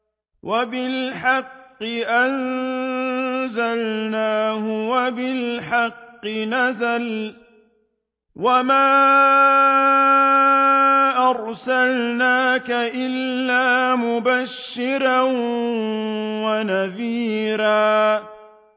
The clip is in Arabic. وَبِالْحَقِّ أَنزَلْنَاهُ وَبِالْحَقِّ نَزَلَ ۗ وَمَا أَرْسَلْنَاكَ إِلَّا مُبَشِّرًا وَنَذِيرًا